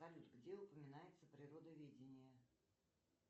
салют где упоминается природоведение